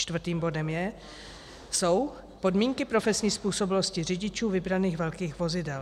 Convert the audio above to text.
Čtvrtým bodem jsou podmínky profesní způsobilosti řidičů vybraných velkých vozidel.